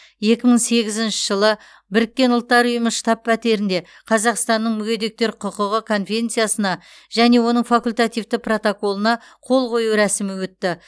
екі мың сегізінші жылы біріккен ұлттар ұйымы штаб пәтерінде қазақстанның мүгедектер құқығы конвенциясына және оның факультативті протоколына қол қою рәсімі өтті